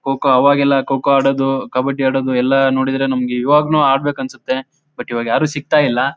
Cocoa ಆವಾಗೆಲ್ಲ ಕೊಕೊ ಆಡೋದು ಕಬಡಿ ಆಡೋದು ಎಲ್ಲಾ ನೋಡಿದ್ರೆ ನಮ್ಗೆ ಈವಾಗ್ಲು ಆಡ್ಬೇಕನ್ಸುತ್ತೆ ಬಟ್ ಇವಾಗ ಯಾರು ಸಿಗ್ತಾ ಇಲ್ಲ.